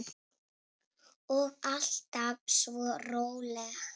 Og alltaf svo róleg.